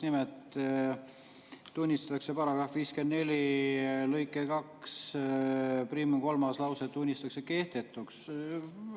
Nimelt tunnistatakse § 54 lõike 21 kolmas lause kehtetuks.